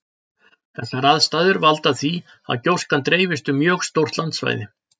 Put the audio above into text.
Þessar aðstæður valda því að gjóskan dreifist um mjög stórt landsvæði.